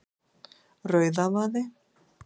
Rauðavaði